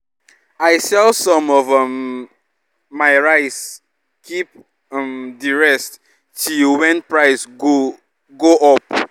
i sell some of um my rice keep um di rest till wen price go go up